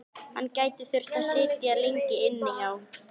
Hann gæti þurft að sitja lengi inni, já.